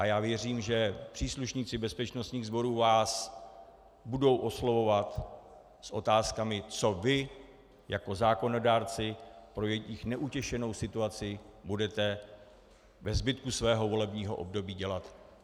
A já věřím, že příslušníci bezpečnostních sborů vás budou oslovovat s otázkami, co vy jako zákonodárci pro jejich neutěšenou situaci budete ve zbytku svého volebního období dělat.